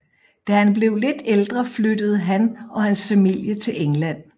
Da han blev lidt ældre flyttede han og hans familie til England